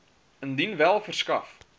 indien wel verskaf